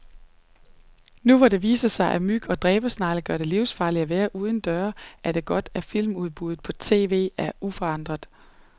Nu hvor det viser sig, at myg og dræbersnegle gør det livsfarligt at være uden døre, er det godt, at filmudbuddet på tv er uforandret.